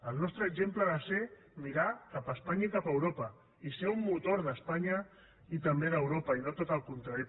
el nostre exemple ha de ser mirar cap a espanya i cap a europa i ser un motor d’espanya i també d’europa i no tot el contrari